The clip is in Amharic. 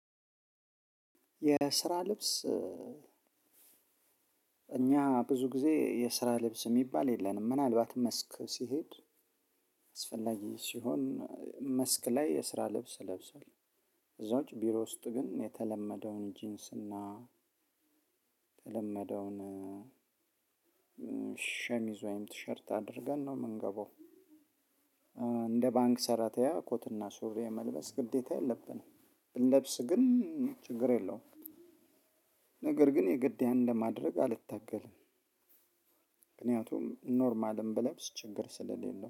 የስራ ልብስ እኛ ብዙ ጊዜ የስራ ልብስ የሚባል የለንም። ምናልባት መስክ ሲሄድ አስፈላጊ ሲሆን መስክ ላይ የስራ ልብስ ለብሰዋል። ከዛ ውጭ ቢሮ ውስጥ ግን የተለመደውን ጂንስ እና ተለመደውን ሸሚዝ ወይም ቲሸርት አድርገን ነው የምንገባው እንደ ባንክ ሰራተኛ ኮትና ሱሪ መልበስ ግዴታ የለብንም። ብንለብስ ግን ችግር የለውም። ነገር ግን የግድ ያን ለማድረግ አልታገልም። ምክንያቱም ኖርማልም ብለብስ ችግር ስለሌለው፤